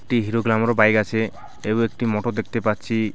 একটি Hero Glamour bike আছে এবং একটি মোটর দেখতে পাচ্ছি।